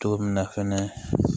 Cogo min na fɛnɛ